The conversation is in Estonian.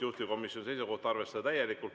Juhtivkomisjoni seisukoht on arvestada täielikult.